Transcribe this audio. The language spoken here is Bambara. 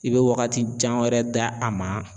I bɛ wagati jan wɛrɛ da a ma.